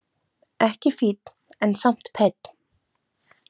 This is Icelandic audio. Ekki fínn en samt penn.